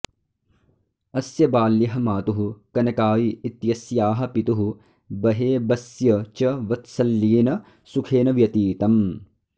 अस्य बाल्यः मातुः कनकाई इत्यस्याः पितुः बहेबस्य च वत्सल्येन सुखेन व्यतीतम्